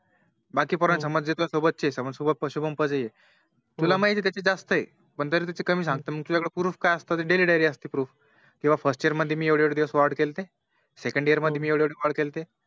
बाकी पोरांचे सोबतचे तुला माहिती आहे तुझे जास्त आहे तरी त्याचे कमी सांगता तुझ्या कड एकटी Proof काय असत तर Daily diary असते Proof कि First year मध्ये मी एवढे एवढे दिवस Ward केले होते Second year मध्ये एवढे एवढे Ward केले होते